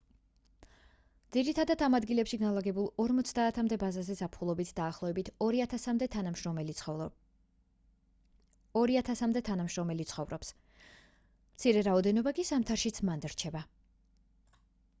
ძირითადად ამ ადგილებში განლაგებულ ორმოცამდე ბაზაზე ზაფხულობით დაახლოებით ორი ათასამდე თანამშრომელი ცხოვრობს მცირე რაოდენობა კი ზამთარშიც მანდ რჩება